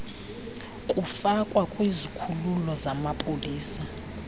kufakwa kwizikhululo zamapolisa